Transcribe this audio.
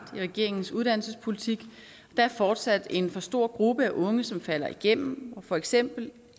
i regeringens uddannelsespolitik der er fortsat en for stor gruppe af unge som falder igennem og for eksempel